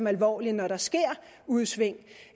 alvorligt når der sker udsving